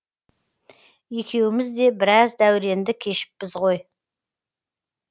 екеуіміз де біраз дәуреңді кешіппіз ғой